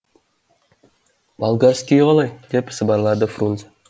болгарскийі қалай деп сыбырлады фрунзе